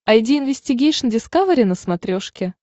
айди инвестигейшн дискавери на смотрешке